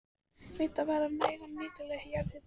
Vitað var um nægan og nýtanlegan jarðhita á